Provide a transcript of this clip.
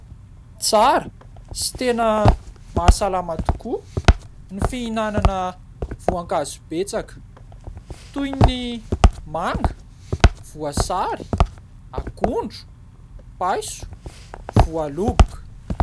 Tsara sy mahasalama tokoa ny fihinanana voankazo betsaka toy ny manga, voasary, akondro, paiso, voaloboka.